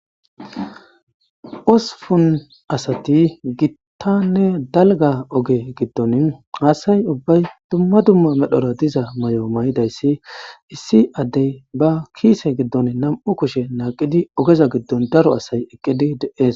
Osupun asati gittanne dalga oge giddon haasay ubbay dumma dumma medhora diza may'o may'idayssi issi addey ba kiise giddon nam'u kushe naaqidi ogeza giddon daro asay eqqidi dees